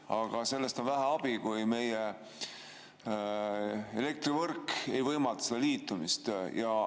Aga sellest on vähe abi, kui meie elektrivõrk ei võimalda liitumist.